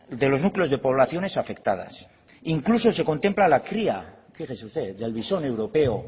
de los núcleos de poblaciones afectadas incluso se contempla la cría yo qué sé qué del visón europea